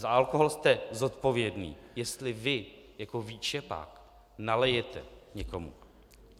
Za alkohol jste zodpovědný, jestli vy jako výčepák nalijete někomu.